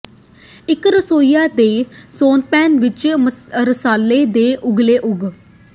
ਇੱਕ ਰਸੋਈਆਂ ਦੇ ਸੌਸਪੈਨ ਵਿੱਚ ਰਸਾਲ਼ੇ ਦੇ ਉਗਲੇ ਉਗ